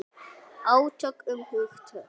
Átök um hugtök.